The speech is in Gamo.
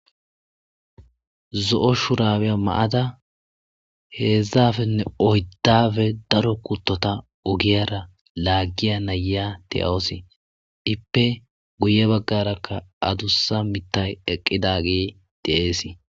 Zo7o shurabiya ma7ada heedzdzafenne oyddaafe daro kuttota ogiyara laaggiya nayiya deyawosi. Iippe guye baggarakka adussa mittay eqqidagee de7eesi.